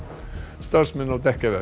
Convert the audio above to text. starfsmenn á